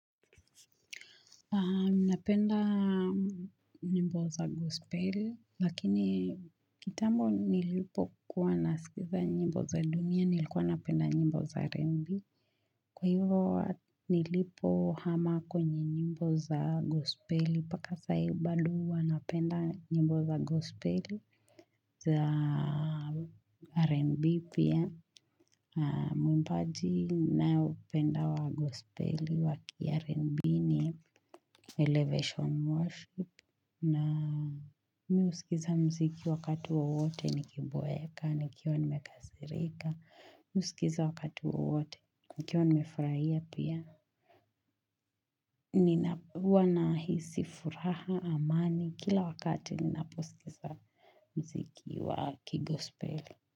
Napenda nyimbo za gospeli lakini kitambo nilipo kuwa nasikiza nyimbo za dunia nilikuwa napenda nyimbo za rembi kwa hivyo nilipohama kwenye nyimbo za gospeli paka saa hii bado huwa napenda nyimbo za gospeli za rembi pia mwimbaji nayoupenda wa gospeli waki ya rembi ni Elevation worship na mii usikiza mziki wakati wowote ni kiboeka nikiwa nimekasirika mii husikiza wakati wowote nikiwa nimefurahia pia Nina huwa nahisi furaha amani kila wakati ninaposikiza mziki wa kigospeli.